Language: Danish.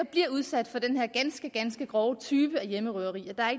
bliver udsat for den her ganske ganske grove type af hjemmerøverier